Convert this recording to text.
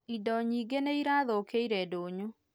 Indo nyingĩ nĩ irathũkiĩre ndũnyũ